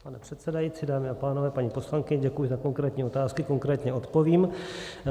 Pane předsedající, dámy a pánové, paní poslankyně, děkuji za konkrétní otázky, konkrétně odpovím.